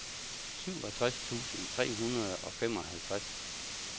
syvogtres tusind tre hundrede og femoghalvtreds